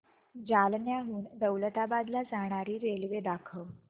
जालन्याहून दौलताबाद ला जाणारी रेल्वे दाखव